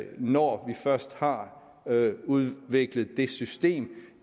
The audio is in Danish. når vi først har udviklet det system